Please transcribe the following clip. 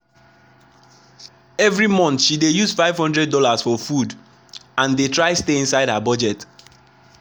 every month she dey use five hundred dollars for food and dey try stay inside her budget.